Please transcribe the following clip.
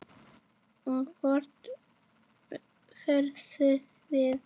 Og hvert horfum við?